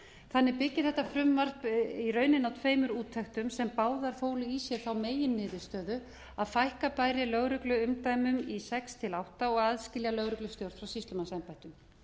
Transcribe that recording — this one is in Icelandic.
þannig byggir þetta frumvarp í rauninni á tveimur úttektum sem báðar fólu í sér meginniðurstöðu að fækka bæri lögregluumdæmum í sex til átta og aðila lögregustjórn frá sýslumannsembættum